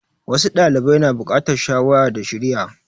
Wasu ɗalibai na bukatar shawara da shiriya.